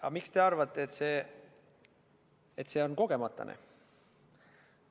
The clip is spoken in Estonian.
Aga miks te arvate, et see on kogemata nii?